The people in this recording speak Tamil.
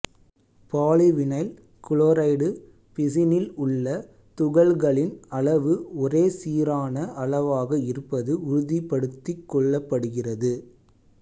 பாலிவினைல் குளோரைடு பிசினில் உள்ள துகள்களின் அளவு ஒரே சீரான அளவாக இருப்பது உறுதிபடுத்திக் கொள்ளப்படுகிறது